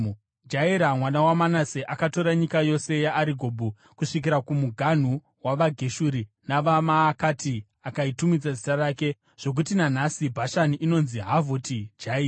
Jairi mwana waManase, akatora nyika yose yeArigobhu, kusvikira kumuganhu wavaGeshuri navaMaakati, akaitumidza zita rake zvokuti nanhasi Bhashani inonzi Havhoti Jairi.)